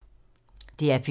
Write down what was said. DR P2